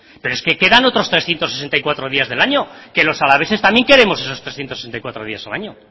pero es que quedan otros trescientos sesenta y cuatro días del año que los alaveses también queremos esos trescientos sesenta y cuatro días al año